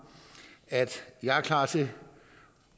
at jeg er klar til